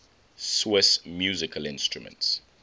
swiss musical instruments